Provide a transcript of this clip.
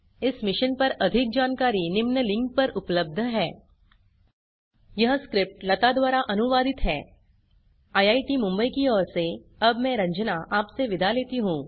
इस मिशन पर अधिक जानकारी निम्न लिंक पर उपलब्ध है httpspoken tutorialorgNMEICT Intro यह स्क्रिप्ट लता द्वारा अनुवादित है आईआईटी मुंबई से अब मैं श्रुति आर्य आपसे विदा लेती हूँ